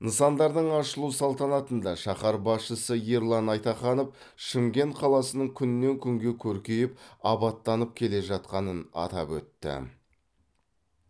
нысандардың ашылу салтанатында шаһар басшысы ерлан айтаханов шымкент қаласының күннен күнге көркейіп абаттанып келе жатқанын атап өтті